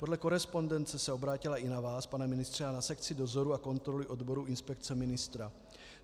Podle korespondence se obrátila i na vás, pane ministře, a na sekci dozoru a kontroly odboru inspekce ministra.